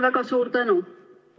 Väga suur tänu!